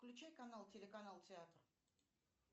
включай канал телеканал театр